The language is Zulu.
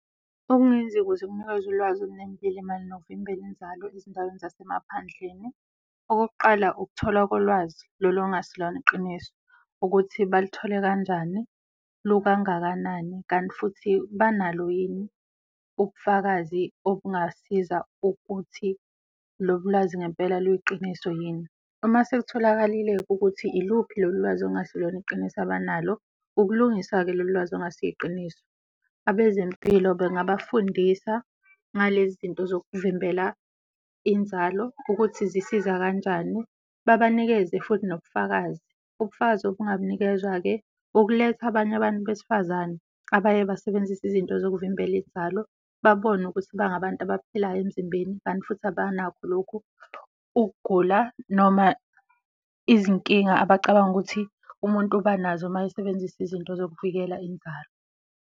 Okungenziwa ukuze kunikezwe ulwazi olunembile mayelana nokuvimbela inzalo ezindaweni zasemaphandleni, okokuqala ukuthola kolwazi lolu olungasilona iqiniso ukuthi balithole kanjani, lukangakanani kanti futhi banalo yini ukufakazi okungasiza ukuthi lolu lazi ngempela luyiqiniso yini. Uma sekutholakalile-ke ukuthi iluphi lolu lwazi okungasilona iqiniso abanalo, ukulungisa-ke lolu lwazi okungasi yiqiniso. Abezempilo bengabafundisa ngalezi zinto zokuvimbela inzalo ukuthi zisiza kanjani, babanikeze futhi nobufakazi. Ubufakazi obungabunikezwa-ke ukuletha abanye abantu besifazane abaye basebenzise izinto zokuvimbela inzalo babone ukuthi bangabantu abaphilayo emzimbeni, kanti futhi abanakho lokhu ukugula noma izinkinga abacabanga ukuthi umuntu uba nazo mayesebenzisa izinto zokuvikela inzalo.